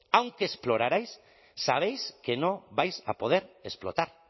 aunque explorarais sabéis que no vais a poder explotar